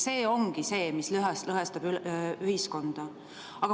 See ongi see, mis lõhestab ühiskonda.